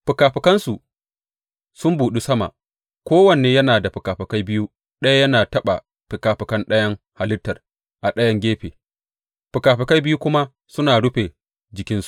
Fikafikansu sun buɗu sama; kowanne yana da fikafikai biyu, ɗaya yana taɓa fikafikan ɗayan halittar a ɗayan gefe, fikafikai biyu kuma suna rufe jikinsa.